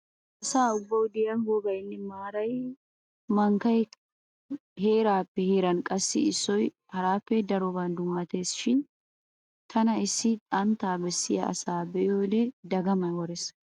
Laa asa ubbawu diya wogaynne a maaray mankkaykka heeraappe heeran qassi issoy haraappe daroban dummatees. Shin tana issi xantta bessiya asa be'iyode dagamay worees.